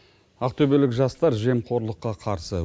ақтөбелік жастар жемқорлыққа қарсы